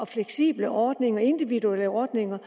fleksible ordninger de individuelle ordninger